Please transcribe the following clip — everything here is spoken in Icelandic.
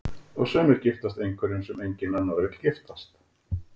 Og sumir giftast einhverjum sem enginn annar vill giftast.